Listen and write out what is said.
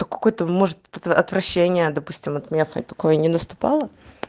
то какое-то может отвращение допустим от местной такое не наступало